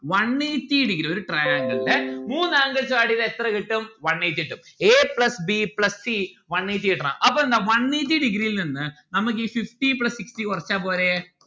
one eighty degree ഒരു triangle ന്റെ മൂന്ന് angles ഉ add എയ്താ എത്ര കിട്ടും? one eighty കിട്ടും a plus b plus c one eighty കിട്ടണം അപ്പോ എന്താ one eighty degree ഇൽനിന്ന് നമ്മക്ക് ഈ fifty plus sixty കൊറച്ചാൽ പോരെ